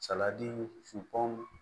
Saladi fu